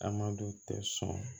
Amadu tɛ sɔn